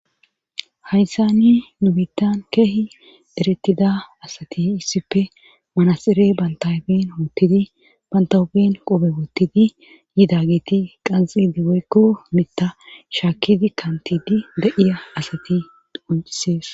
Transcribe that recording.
hayssani nubitan keehi eretida asati issipfe manasire bantabin woottidi bantabin qobe woottidi yidagiti qanxi digeykko mita shaakidi kantidi da7iya asati uncisees